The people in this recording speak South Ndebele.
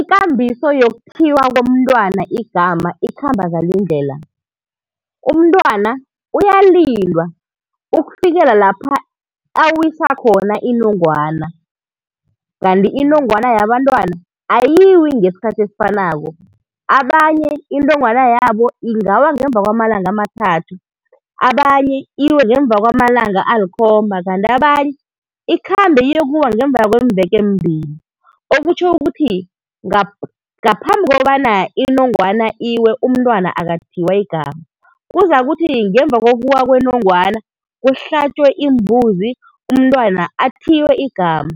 Ikambiso yokuthiywa komntwana igama ikhamba ngalindlela. Umntwana uyalindwa ukufikela lapha awisa khona inongwana. Kanti inongwana yabantwana ayiwi ngesikhathi esifanako, abanye inongwana yabo ingawa ngemuva kwamalanga amathathu, abanye iwe ngemuva kwamalanga alikhomba kanti abanye ikhambe iyokuwa ngemuva kwemveke ezimbili. Okutjho ukuthi ngaphambi kobana inongwana iwe umntwana akathiywa igama. Kuzakuthi ngemuva kokuwa kwenongwana kuhlatjwe imbuzi umntwana athiywe igama.